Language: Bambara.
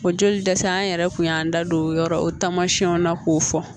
O joli dɛsɛ an yɛrɛ kun y'an da don o yɔrɔ o taamasiyɛnw na k'o fɔ